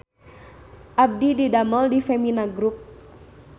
Abdi didamel di Femina Grup